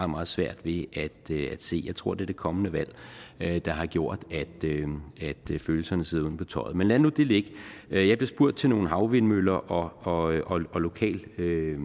meget svært ved at se jeg tror det er det kommende valg der har gjort at følelserne sidder uden på tøjet men lad nu det ligge jeg blev spurgt til nogle havvindmøller og og lokal